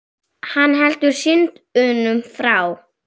Hann heldur synd unum frá.